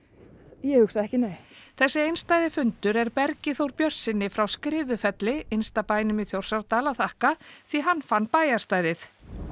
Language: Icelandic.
ég hugsa ekki nei þessi einstæði fundur er Bergi Þór Björnssyni frá Skriðufelli innsta bænum í Þjórsárdal að þakka því hann fann bæjarstæðið